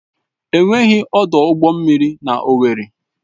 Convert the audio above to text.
Enweghị ọdụ ụgbọ mmiri na Owerri.